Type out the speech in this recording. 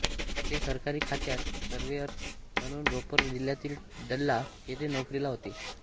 ते सरकारी खात्यात सर्वेअर म्हणून रोपर जिल्ह्यातील डल्ला येथे नोकरीला होते